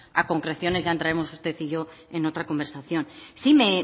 a concreciones ya entraremos usted y yo en otra conversación sí